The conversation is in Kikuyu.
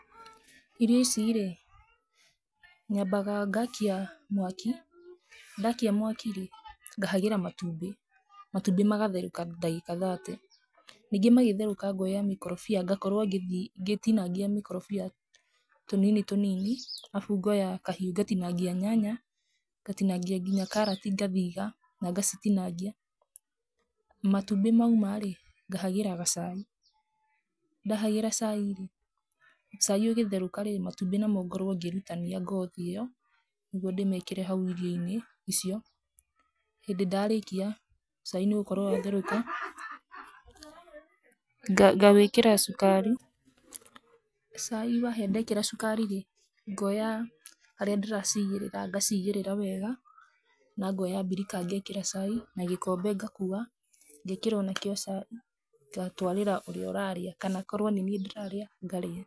Irio ici rĩ, nyambaga ngaakia mwaki, ndaakia mwaki rĩ, ngahagĩra matumbĩ. Matumbbĩ makatherũka ndagĩka thate. Ningĩ magetherũka ngaoya mĩkorobia ngakorwo ngĩtinangia mĩkorobia tũnini tũnini, arabu ngaoya kahiũ ngatinangia nyanya, ngatinangia nginya karati ngathiga na ngacitinagia. Matumbĩ mauma rĩ, ngahagĩra gacai. Ndahagĩra cai rĩ, cai ũgĩtherũka rĩ, matumbĩ namo ngorwo ngĩrutania ngothi ĩyo nĩguo ndĩmĩĩkĩre hau irio-inĩ icio. Hĩndĩ ndarĩkia, cai nĩ ũgũkorwo watherũka, ngawekĩra cukari. Cai wahĩa ndekĩra cukari rĩ, ngaoya harĩa ndĩraciigĩrĩra ngaciigĩrĩra wega na ngaoya mbirika ngeekĩra cai na gĩkombe ngakua. Ngeekĩra o nakĩo cai ngatwarĩra ũrĩa ũrarĩa kana korwo nĩ niĩ ndĩrarĩa, ngarĩa.